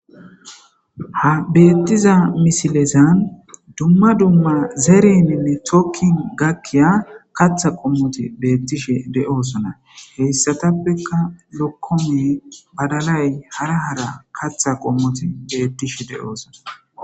ha beettiza misilezan dumma dumma zereminne tokin gakkiya katha qommoti beettishe de7osona heyssatappeka lokkomi badalay hara hara katha qommoti beettishe de7oosona